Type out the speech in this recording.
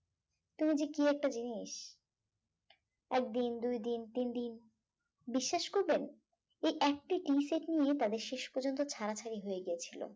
তুমি যে কি একটা জিনিস একদিন দুইদিন তিনদিন বিশ্বাস করবেন এই একটি tea set নিয়ে তাদের শেষ পর্যন্ত ছাড়াছাড়ি হয়ে গিয়েছিল